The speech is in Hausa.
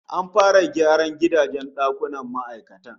An fara gyaran rukunin gidajen ma'aikatan